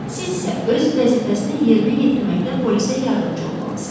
Siz isə öz vəzifəsini yerinə yetirməkdə polisə yardımçı olmalısız.